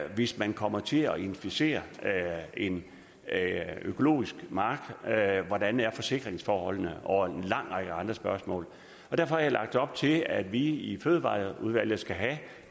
hvis man kommer til at inficere en økologisk mark hvordan er forsikringsforholdene og en lang række andre spørgsmål derfor har jeg lagt op til at vi i fødevareudvalget skal have